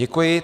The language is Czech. Děkuji.